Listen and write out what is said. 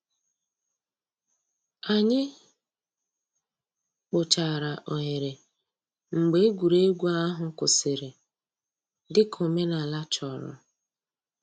Ànyị̀ kpochàrā òghèrè mgbè ègwè́régwụ̀ àhụ̀ kwụsìrì, dị̀ka òmènàlà chọ̀rọ̀.